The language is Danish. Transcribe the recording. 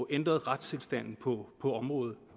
ændre retstilstanden på på området